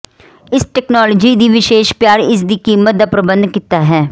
ਇਸ ਤਕਨਾਲੋਜੀ ਦੀ ਵਿਸ਼ੇਸ਼ ਪਿਆਰ ਇਸ ਦੀ ਕੀਮਤ ਦਾ ਪ੍ਰਬੰਧ ਕੀਤਾ ਹੈ